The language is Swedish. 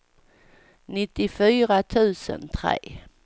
nittiofyra tusen tre